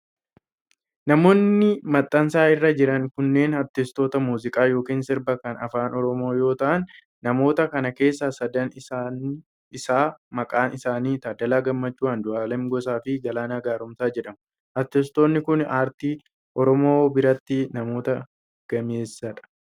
Namoonni maxxansa irra jiran kunneen, artistoota muuziqaa yookiin sirbaa kan Afaan Oromoo yoo ta'an, namoota kana keessaa sadan isaa maqaan isaanii:Taaddala Gammachuu, Andu'aalam Gosaa fi Galaanaa Gaaromsaa jedhamu. Artistoonni kun, aartii Oromoo biratti namoota gameessa dha.